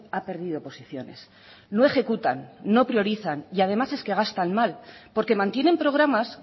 ha perdido posiciones no ejecutan no priorizan y además es que gastan mal porque mantienen programas